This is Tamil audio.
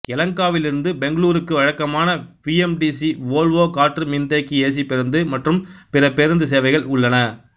யெலகங்காவிலிருந்து பெங்களூருக்கு வழக்கமான பிஎம்டிசி வோல்வோ காற்று மின்தேக்கி ஏசி பேருந்து மற்றும் பிற பேருந்து சேவைகள் உள்ளன